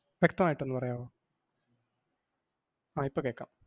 വ്യക്തമായിട്ടൊന്ന് പറയാവോ? ആഹ് ഇപ്പം കേക്കാം.